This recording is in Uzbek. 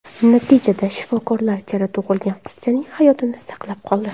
Natijada shifokorlar chala tug‘ilgan qizchaning hayotini saqlab qoldi.